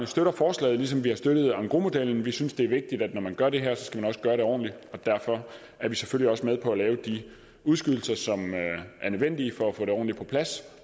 støtter forslaget ligesom vi har støttet engrosmodellen vi synes det er vigtigt at når man gør det her skal man også gøre det ordentligt og derfor er vi selvfølgelig også med på at lave de udskydelser som er nødvendige for at få det ordentligt på plads